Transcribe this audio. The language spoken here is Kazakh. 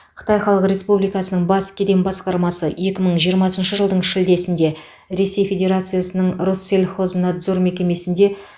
қытай халық республикасының бас кеден басқармасы екі мың жиырмасыншы жылдың шілдесінде ресей федерациясының россельхознадзор мекемесінде